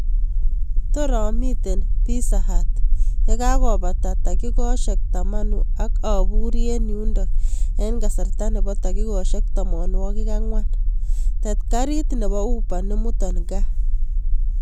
Tor amiten pizza hut yegagopata takikoshek taman ak aburi en yundon en kasarta nebo takikoshek tamanwagik ang'wan tet karit nebo uba nemutan gaa